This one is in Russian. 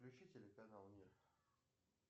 включи телеканал мир